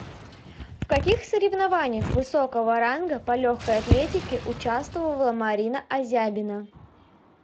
в каких соревнованиях высокого ранга по легкой атлетике участвовала марина азябина